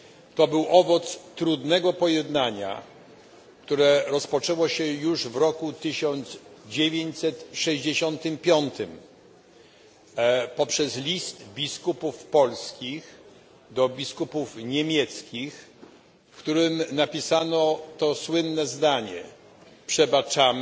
To był owoc trudnego pojednania, które rozpoczęło się już w roku 1965, poprzez list biskupów polskich do biskupów niemieckich, w którym napisano to słynne zdanie Przebaczamy